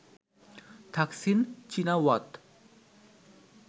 Thaksin Shinawatra